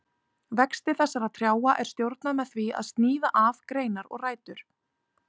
Vexti þessara trjáa er stjórnað með því að sníða af greinar og rætur.